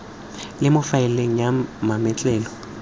le mo faeleng ya mametlelelo